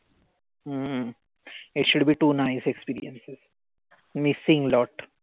हम्म it should be too nice experience missing lot.